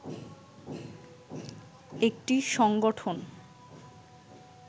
একটি সংগঠন